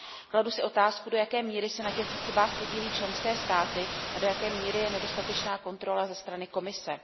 Kladu si otázku, do jaké míry se na těchto chybách podílí členské státy a do jaké míry je nedostatečná kontrola ze strany Komise.